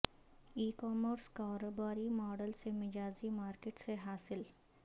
ای commerce کاروباری model سے مجازی مارکیٹ سے حاصل